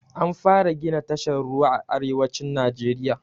An fara gina tashar ruwa a arewacin najeriya